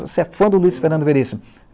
Você é fã do Luiz Fernando Veríssimo.